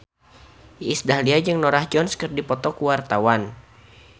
Iis Dahlia jeung Norah Jones keur dipoto ku wartawan